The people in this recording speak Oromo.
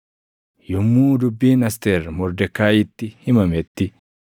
Yommuu dubbiin Asteer Mordekaayiitti himametti,